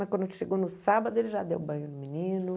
Mas quando chegou no sábado, ele já deu banho no menino.